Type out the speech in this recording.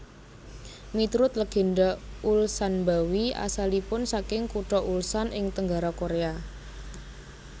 Miturut legenda Ulsanbawi asalipun saking kutha Ulsan ing tenggara Korea